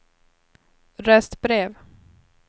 röstbrev